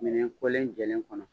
Minɛn kɔlen jɛlen kɔnɔ.